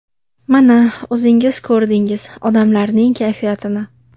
Mana, o‘zingiz ko‘rdingiz odamlarning kayfiyatini.